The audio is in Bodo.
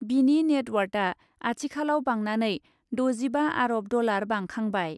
बिनि नेटवार्थआ आथिखालाव बांनानै द'जिबा आरब डलार बांखांबाय ।